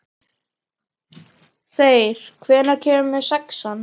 Þeyr, hvenær kemur sexan?